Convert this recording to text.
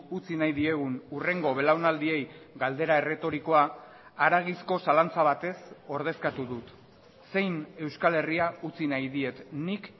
utzi nahi diegun hurrengo belaunaldiei galdera erretorikoa haragizko zalantza batez ordezkatu dut zein euskal herria utzi nahi diet nik